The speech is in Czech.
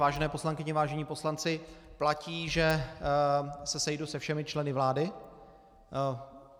Vážené poslankyně, vážení poslanci, platí, že se sejdu se všemi členy vlády.